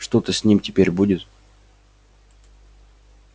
что-то с ним теперь будет